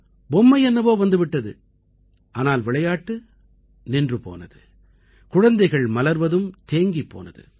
பொம்மை என்னவோ வந்து விட்டது ஆனால் விளையாட்டு நின்று போனது குழந்தைகள் மலர்வதும் தேங்கிப் போனது